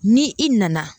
Ni i nana